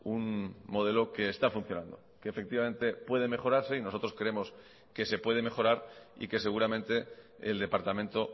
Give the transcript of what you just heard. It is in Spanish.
un modelo que está funcionando que efectivamente puede mejorarse y nosotros creemos que se puede mejorar y que seguramente el departamento